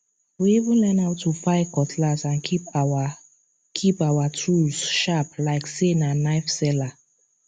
we even learn how to file cutlass and keep our keep our tools sharp like say na knife seller